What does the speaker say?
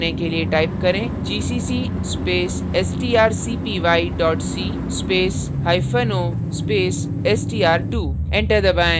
compile करने के लिए type करें gcc space strcpy c space hyphen o space str2 enter दबाएँ